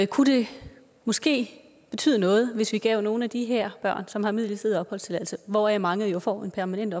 kunne det måske betyde noget hvis vi gav nogle af de her børn som har midlertidig opholdstilladelse hvoraf mange jo får en permanent